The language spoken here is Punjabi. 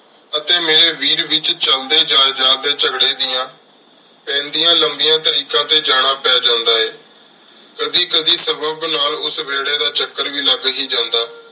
ਅਤੀ ਮੇਰੀ ਵੀਡ ਵਿਚ ਚਲਦੀ ਜਾਏ ਜਾ ਟੀ ਝਗੜੇ ਦੀਆਂ ਪੇੰਦਿਯਾ ਲਾਮਿਯਾ ਤਾਰੀਖਾਂ ਟੀ ਜਾਣਾ ਪੀ ਜਾਂਦਾ ਆਯ ਕਦੀ ਕਦੀ ਸਬਬ ਨਾਲ ਉਸ ਵੇਰ੍ਹ੍ਯ ਦਾ ਚਾਕਰ ਵੀ ਲਾਗ ਹੇ ਜਾਂਦਾ